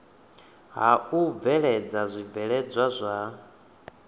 ha u bveledza zwibveledzwa zwa